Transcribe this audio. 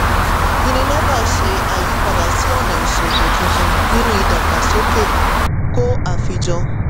unilever ṣe àyípadà sí ọ̀nà ìsòwò tuntun nínú ìdàgbàsókè kò àfijọ.